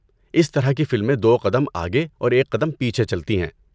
اس طرح کی فلمیں دو قدم آگے اور ایک قدم پیچھے چلتی ہیں۔